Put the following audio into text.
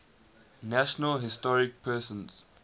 national historic persons